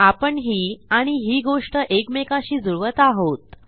आपण ही आणि ही गोष्ट एकमेकाशी जुळवत आहोत